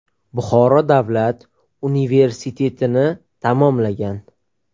Buxoro davlat universitetini tamomlagan.